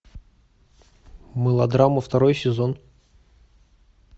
мылодрама второй сезон